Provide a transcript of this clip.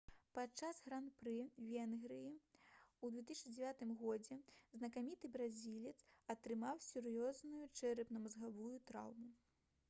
падчас гран-пры венгрыі ў 2009 годзе знакаміты бразілец атрымаў сур'ёзную чэрапна-мазгавую траўму